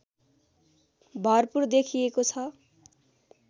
भरपूर देखिएको छ